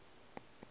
a ka re ge o